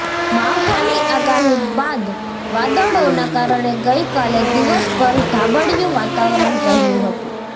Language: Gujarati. માવઠાની આગાહી બાદ વાદળોના કારણે ગઈકાલે દિવસભર ધાબડિયુ વાતાવરણ રહ્યું હતું